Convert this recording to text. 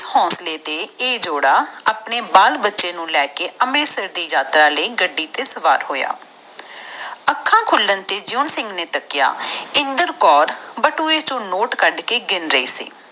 ਤੇ ਇਸ ਹੋਂਸਲੇ ਤਰੇ ਇਹ ਜੋੜ ਆਪਣੇ ਬਾਲ ਬੱਚੇ ਨੂੰ ਲੈ ਕੇ ਅੰਮ੍ਰਿਤਸਰ ਦੇ ਯਾਤਰਾ ਲਾਇ ਗੱਡੀ ਤੇ ਤਾਯਾਰ ਹੋਇਆ ਅੱਖਾਂ ਖੁਲਦੇ ਜਿਉਂ ਸਿੰਘ ਨੇ ਦੇਖਿਆ ਇੰਦਰ ਕੌਰ ਬਟੂਏ ਚੋ ਨੋਟ ਕੱਢ ਕੇ ਗਿਣ ਰਾਹੁ ਸੀ